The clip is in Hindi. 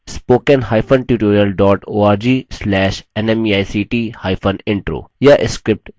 * spoken hyphen tutorial dot org slash nmeict hyphen intro